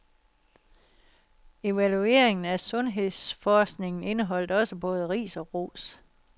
Evalueringen af sundhedsforskningen indeholdt også både ris og ros.